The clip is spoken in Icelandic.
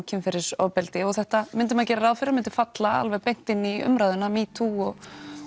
kynferðisofbeldi og þetta myndi maður gera ráð fyrir að myndi falla beint inn í umræðuna metoo og